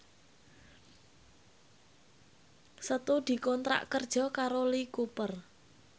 Setu dikontrak kerja karo Lee Cooper